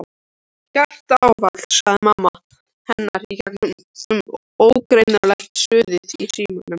Hjartaáfall sagði mamma hennar í gegnum ógreinilegt suðið í símanum.